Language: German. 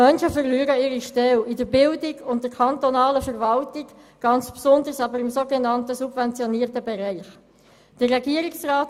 Menschen, die im Bildungswesen und in der kantonalen Verwaltung tätig sind, und ganz besonders solche, die im sogenannt subventionierten Bereich arbeiten, verlieren ihre Stellen.